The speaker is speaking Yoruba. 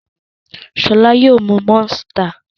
Ṣọlá yóò mú Monster.